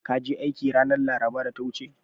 Ka je aiki ranar laraba da ta wuce?